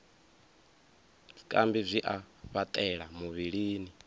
zwikambi zwi a fhaṱela muvhilini